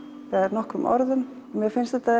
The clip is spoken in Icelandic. nokkrum orðum mér finnst þetta